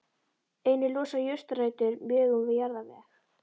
Einnig losa jurtarætur mjög um jarðveg.